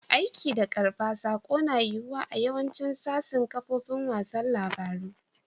Aika da karban sako na yiwuwa a yawacin sasin kafofin wasan labaru.